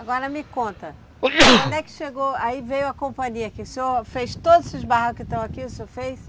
Agora me conta, Como é que chegou, aí veio a companhia que o senhor fez todos esses barracos que estão aqui, o senhor fez?